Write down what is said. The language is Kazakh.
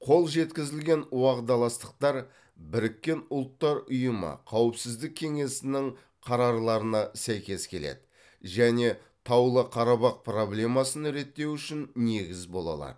қол жеткізілген уағдаластықтар біріккен ұлттар ұйымы қауіпсіздік кеңесінің қарарларына сәйкес келеді және таулы қарабақ проблемасын реттеу үшін негіз бола алады